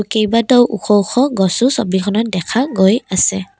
কেইবাটাও ওখ ওখ গছো ছবিখনত দেখা গৈ আছে।